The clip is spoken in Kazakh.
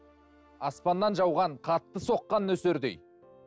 аспаннан жауған қатты соққан нөсердей